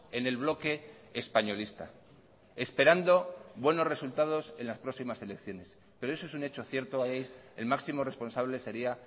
en el bloque españolista esperando buenos resultados en las próximas elecciones pero eso es un hecho cierto ahí el máximo responsable sería